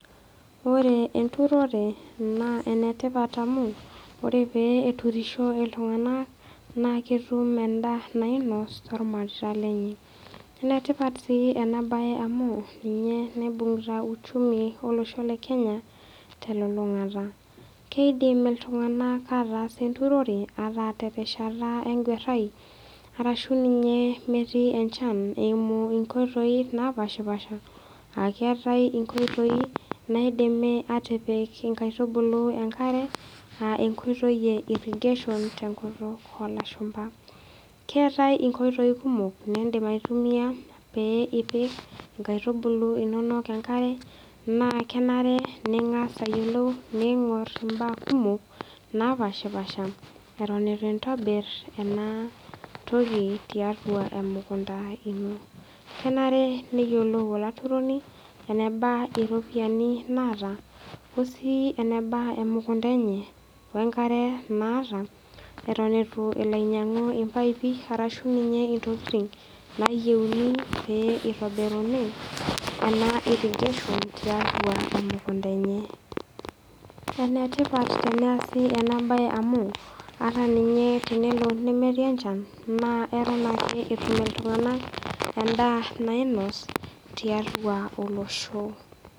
Ore enturore naa enetipat oleng, ore pee eturisho iltung'ana naa ketum endaa nainosh tolmareita lenye. Enetipat sii ena bae amu ninye naibung'ita uchumi olosho le Kenya telulung'ata. Keidim iltung'ana ataas enturore ata terishata enguarai arashu ninye emetii enchan eimu inkoitoi napaashipaasha a keatai inkoitoi naidimi atipik inkaitubulu enkare a enkoitoi e irrigation tenkutuk olashumba. Keatai inkoitoi kumok niindim aitumia pee epik inkaitubulu inono enkare naa kenare ning'as ayolou ning'or imbaa kumok napaashipaasha eton eitu intobir ena toki tiatua emukunda ino. Kenare neyiolou olaturoni eneba iropiani naata o sii eneba emukunda enye, wenkare naata eton eitu elo ainyang'u ilpaipi arashu ninye intokitin nayeuni pee eitobiri ena irrigation tiatua emukunda enye. Enetipat teneasi ena bae amu ata ninye tenelo nemetii enchan naa eton ake etum iltung'ana endaa nainosh tiatua olosho.